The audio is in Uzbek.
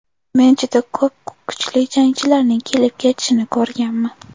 Men juda ko‘p kuchli jangchilarning kelib-ketishini ko‘rganman.